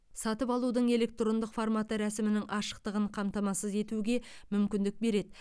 сатып алудың электрондық форматы рәсімнің ашықтығын қамтамасыз етуге мүмкіндік береді